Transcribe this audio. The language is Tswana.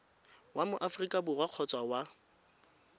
wa mo aforika borwa kgotsa